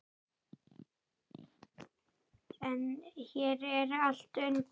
En hér er allt undir.